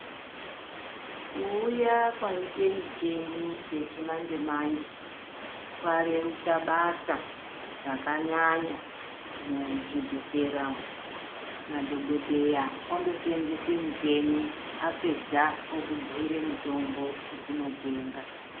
Ku uya kwaite micheni yechi manje manje kwa rerutsa basa raka nyanya mu zvibhedhlera madhokodheya ondo senzese mucheni apedza oku bhuyire mutombo yekundo tenga.